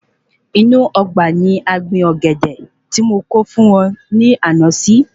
Inú Ọgbà ni a gbin Ọ̀gẹ̀dẹ̀ tí mo kó fún ọ ní ànà si